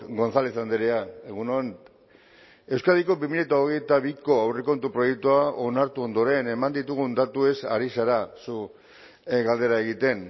gonzález andrea egun on euskadiko bi mila hogeita biko aurrekontu proiektua onartu ondoren eman ditugun datuez ari zara zu galdera egiten